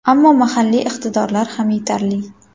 Ammo mahalliy iqtidorlar ham yetarli.